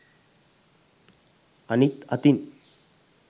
අනිත් අතින්